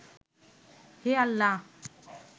হে আল্লাহ